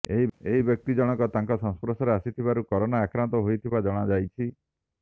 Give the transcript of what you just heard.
ଏହି ବ୍ୟକ୍ତି ଜଣକ ତାଙ୍କ ସଂସ୍ପର୍ଶରେ ଆସିଥିବାରୁ କରୋନା ଆକ୍ରାନ୍ତ ହୋଇଥିବା ଜଣାଯାଇଛି